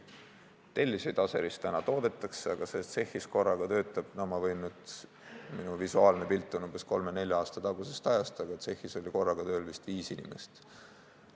Telliseid Aseris täna toodetakse, aga seal tsehhis töötab – no minu visuaalne pilt on kolme-nelja aasta tagusest ajast – korraga vist viis inimest.